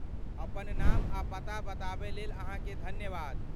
अपन नाम आ पता बताबय लेल अहाँके धन्यवाद।